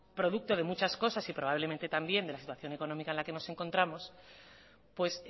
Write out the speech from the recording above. producto de muchas cosas y probablemente también de la situación económica que nos encontramos pues